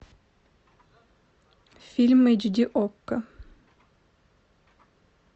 фильм эйч ди окко